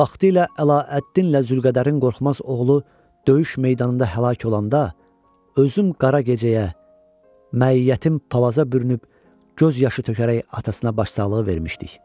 Vaxtilə Ələəddinlə Zülqədərin qorxmaz oğlu döyüş meydanında həlak olanda, özüm qara gecəyə, məiyyətim palaza bürünüb göz yaşı tökərək atasına başsağlığı vermişdik.